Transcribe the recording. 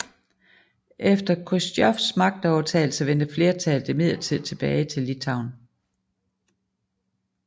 Efter Khrusjtjovs magtovertagelse vendte flertallet imidlertid tilbage til Litauen